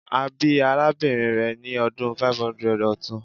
A bi arabinrin rẹ ni ọdun 500 ọtun